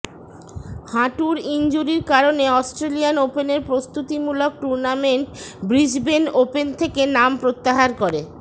হাঁটুর ইনজুরির কারণে অস্ট্রেলিয়ান ওপেনের প্রস্তুতিমূলক টুর্নামেন্ট ব্রিসবেন ওপেন থেকে নাম প্রত্যাহার করে